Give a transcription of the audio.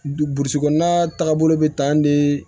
Burusi kɔnɔna taagabolo bɛ tan de